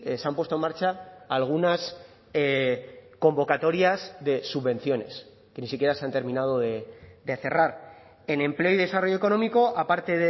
se han puesto en marcha algunas convocatorias de subvenciones que ni siquiera se han terminado de cerrar en empleo y desarrollo económico aparte